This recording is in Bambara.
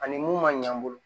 Ani mun ma ɲɛ an bolo